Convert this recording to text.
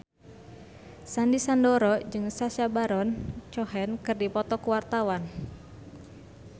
Sandy Sandoro jeung Sacha Baron Cohen keur dipoto ku wartawan